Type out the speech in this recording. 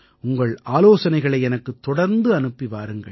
உங்கள் ஆலோசனைகளை எனக்குத் தொடர்ந்து அனுப்பி வாருங்கள்